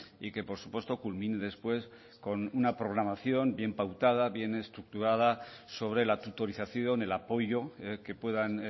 y que por supuesto culmine después con una programación bien pautada bien estructurada sobre la tutorización el apoyo que puedan